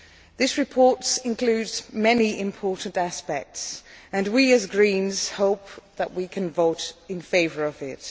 This report includes many important aspects and we, as Greens, hope that we can vote in favour of it.